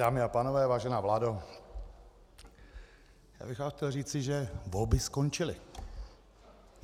Dámy a pánové, vážená vládo, já bych vám chtěl říci, že volby skončily.